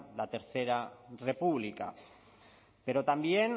la tercera república pero también